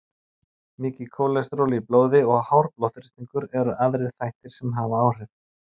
mikið kólesteról í blóði og hár blóðþrýstingur eru aðrir þættir sem hafa áhrif